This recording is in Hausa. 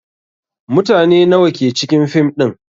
Mutane nawa ke cikin fim din?